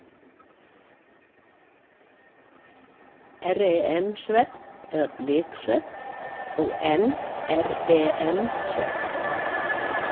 REM-svefn eða bliksvefn og NREM-svefn.